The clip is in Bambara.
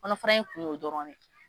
Kɔnɔfara in kun y'o dɔrɔn ne ye